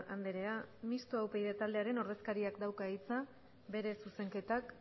andrea mistoa upyd taldearen ordezkariak dauka hitza bere zuzenketak